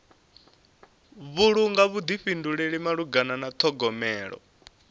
vhulunga vhuḓifhinduleli malugana na ṱhogomelo